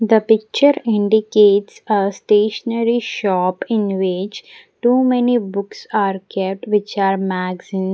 the picture indicates a stationery shop in which too many books are kept which are magazine.